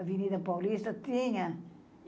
Avenida Paulista tinha.